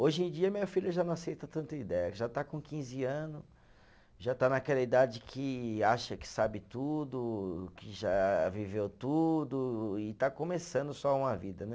Hoje em dia, minha filha já não aceita tanta ideia, já está com quinze anos, já está naquela idade que acha que sabe tudo, que já viveu tudo e está começando só uma vida, né?